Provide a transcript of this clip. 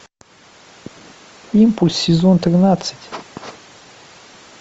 импульс сезон тринадцать